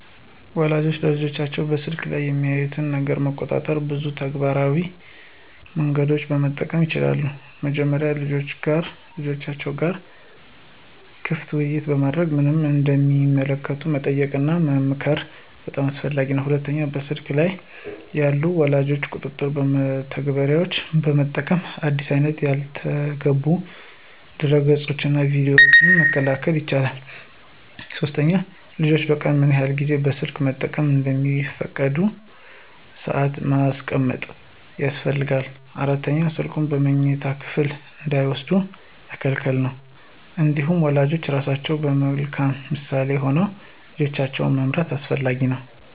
ወላጆች ልጆቻቸው በስልክ ላይ የሚያዩትን ነገር ለመቆጣጠር ብዙ ተግባራዊ መንገዶችን መጠቀም ይችላሉ። መጀመሪያ ከልጆቻቸው ጋር ክፍት ውይይት በማድረግ ምን እንደሚመለከቱ መጠየቅና መመክር በጣም አስፈላጊ ነው። ሁለተኛ በስልክ ላይ ያሉ የወላጅ ቁጥጥር መተግበሪያዎችን በመጠቀም አዲስ አይነት ያልተገቡ ድረገፆችንና ቪዲዮዎችን መከልከል ይቻላል። ሶስተኛ ልጆች በቀን ምን ያህል ጊዜ ስልክ መጠቀም እንደሚፈቀድ ሰአት ማስቀመጥ ያስፈልጋል። አራተኛ ስልኩን በመኝታ ክፍል እንዳይወስዱ መከልከል ነው። እንዲሁም ወላጆች ራሳቸው በመልካም ምሳሌ ሆነው ልጆቻቸውን መምራት አስፈላጊ ነው።